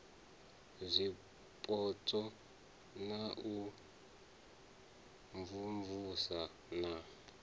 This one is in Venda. zwipotso na u imvumvusa na